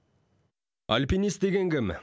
альпинист деген кім